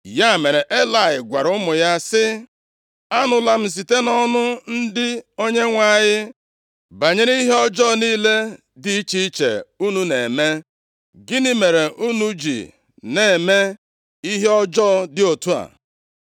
Ya mere, Elayị gwara ụmụ ya sị, “Anụla m site nʼọnụ ndị Onyenwe anyị, banyere ihe ọjọọ niile dị iche iche unu na-eme. Gịnị mere unu ji na-eme ihe ọjọọ dị otu a?